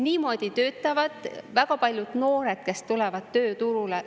Niimoodi töötavad väga paljud noored, kes tulevad tööturule.